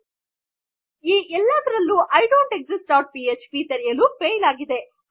ಇಲ್ಲಿ ಇನ್ನೊಂದು ಎಚ್ಚರಿಕೆ ಇದೆ ಈ ಎಲ್ಲಾದರಲ್ಲು ಐಡೊಂಟ್ಎಗ್ಸಿಸ್ಟ್ ಡಾಟ್ ಪಿಎಚ್ಪಿ ತೆರೆಯಲು ಫೈಲ್ ಆಗಿದೆ